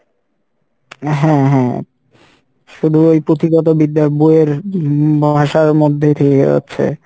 হ্যাঁ হ্যাঁ, শুধু এই পুঁথিগত বিদ্যার বইয়ের উম ভাষার মধ্যেই থেকে যাচ্ছে